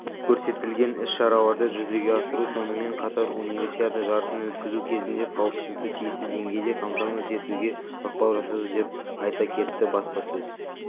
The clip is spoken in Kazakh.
көрсетілген іс-шараларды жүзеге асыру сонымен қатар универсиада жарысын өткізу кезінде қауіпсіздікті тиісті деңгейде қамтамасыз етуге ықпал жасады деп айта кетті баспасөз